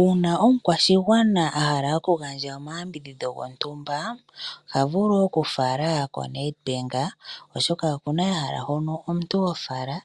Uuna omukwashigwana ahala oku gandja oma yambidhidho gontumba ohavulu okufala ko Nedbank oshoka okuna ehala hono omuntu hofala